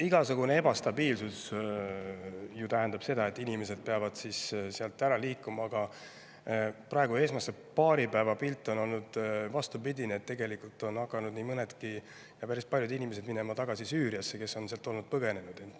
Igasugune ebastabiilsus tähendab ju seda, et inimesed peavad sealt ära liikuma, aga praegune, esimese paari päeva pilt on olnud vastupidine: tegelikult on hakanud nii mõnedki, päris paljud inimesed, kes on Süüriast varem põgenenud, sinna tagasi minema.